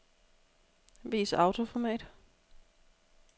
Vis autoformat.